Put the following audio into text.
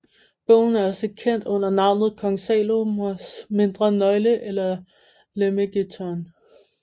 Bogen er også kendt under navnet Kong Salomos Mindre Nøgle eller Lemegeton